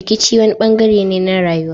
Rikici wani bangare ne na rayuwa.